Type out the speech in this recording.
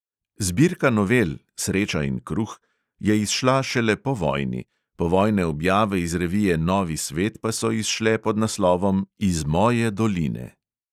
Zbirka novel (sreča in kruh) je izšla šele po vojni, povojne objave iz revije novi svet pa so izšle pod naslovom "iz moje doline".